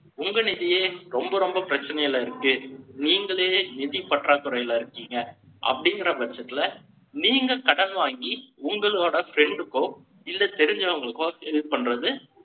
உங்க நிதியே, ரொம்ப, ரொம்ப பிரச்சனையில இருக்கு. நீங்களே, நிதி பற்றாக்குறையில இருக்கீங்க. அப்படிங்கிற பட்சத்துல, நீங்க கடன் வாங்கி, உங்களோட friend க்கோ, இல்ல தெரிஞ்சவங்களுக்கோ இது பண்றது,